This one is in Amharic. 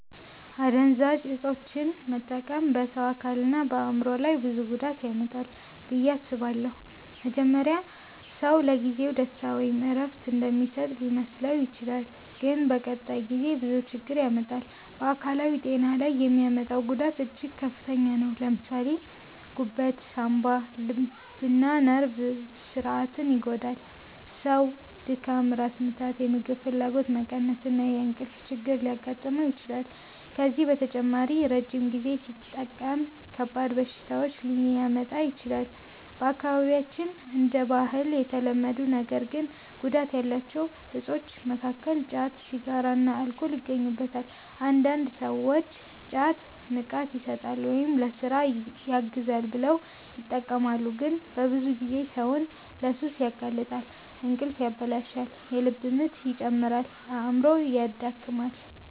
አደንዛዥ እፆችን መጠቀም በሰው አካልና በአእምሮ ላይ ብዙ ጉዳት ያመጣል ብዬ አስባለሁ። መጀመሪያ ሰው ለጊዜው ደስታ ወይም እረፍት እንደሚሰጥ ሊመስለው ይችላል፣ ግን በቀጣይ ጊዜ ብዙ ችግር ያመጣል። በአካላዊ ጤና ላይ የሚያመጣው ጉዳት እጅግ ከፍተኛ ነው። ለምሳሌ ጉበት፣ ሳንባ፣ ልብና ነርቭ ስርዓትን ይጎዳል። ሰው ድካም፣ ራስ ምታት፣ የምግብ ፍላጎት መቀነስ እና የእንቅልፍ ችግር ሊያጋጥመው ይችላል። ከዚህ በተጨማሪ ረጅም ጊዜ ሲጠቀም ከባድ በሽታዎች ሊያመጣ ይችላል። በአካባቢያችን እንደ ባህል የተለመዱ ነገር ግን ጉዳት ያላቸው እፆች መካከል ጫት፣ ሲጋራና አልኮል ይገኙበታል። አንዳንድ ሰዎች ጫት “ንቃት ይሰጣል” ወይም “ለሥራ ያግዛል” ብለው ይጠቀማሉ፣ ግን በብዙ ጊዜ ሰውን ለሱስ ያጋልጣል። እንቅልፍ ያበላሻል፣ የልብ ምት ይጨምራል፣ አእምሮንም ያደክማል።